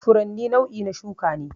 Furanni nau'i na shuka ne